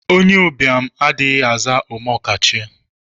Onye ụbịam adịghị aza omeokachie.